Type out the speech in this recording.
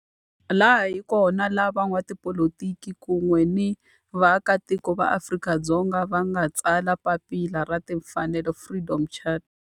Laha hi kona la van'watipolitiki kun'we ni vaaka tiko va Afrika-Dzonga va nga tsala papila ra timfanelo, Freedom Charter.